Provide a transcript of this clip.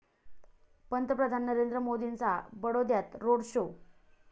पंतप्रधान नरेंद्र मोदींचा बडोद्यात रोड शो